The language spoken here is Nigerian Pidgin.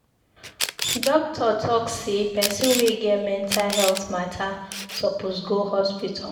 Doctor talk sey pesin wey get mental healt mata suppose go hospital.